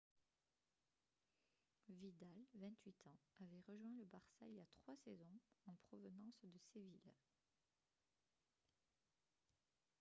vidal 28 ans avait rejoint le barça il y a trois saisons en provenance de séville